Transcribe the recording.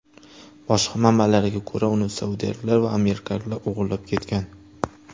Boshqa manbalarga ko‘ra, uni saudiyaliklar va amerikaliklar o‘g‘irlab ketgan.